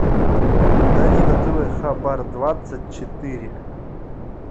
найди на тв хабар двадцать четыре